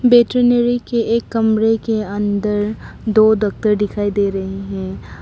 Veterinary के एक कमरे के अंदर दो डॉक्टर दिखाई दे रहे हैं।